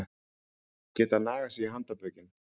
Geta nagað sig í handarbökin